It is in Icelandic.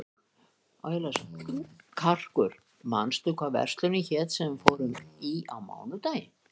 Karkur, manstu hvað verslunin hét sem við fórum í á mánudaginn?